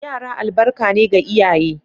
Yara albarka ne ga iyaye.